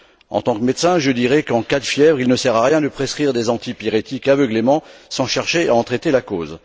En tant que médecin, je dirais qu'en cas de fièvre il ne sert à rien de prescrire des antipyrétiques aveuglément sans chercher à en traiter la cause.